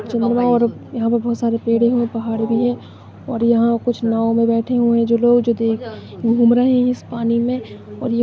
चंद्रमा और बोहोत सारे पेडे और पहाड भी है और याह कुछ नाव में बैठे हुवे जो लोग जो देख घूम रहे हैं। इस पानी में और ये --